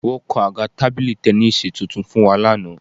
Wọ́n kan àga tábìlì tẹníìsì tuntun fún wa lánàá